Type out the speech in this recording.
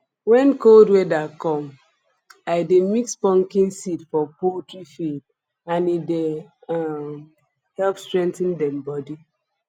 when cold weather come i de mix pumpkin seeds for poultry feed and e dey um help strengthen dem body